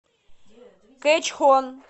кэчхон